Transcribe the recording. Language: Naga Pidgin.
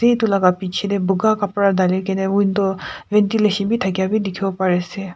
Etu laga piche tey buga kapara dhali kena window ventilation bhi thakeia bhi dekhibo pari ase.